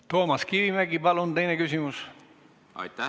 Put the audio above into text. Toomas Kivimägi, palun teine küsimus!